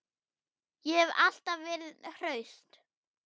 Ég hef alltaf verið hraust.